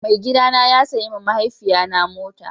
Mai gida na ya sayi ma mahaifiya na motar